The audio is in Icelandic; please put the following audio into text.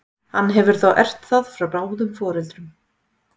hann hefur þá erft það frá báðum foreldrum